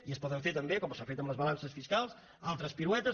i es poden fer també com s’ha fet amb les balances fiscals altres piruetes